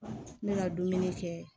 Ne ka dumuni kɛ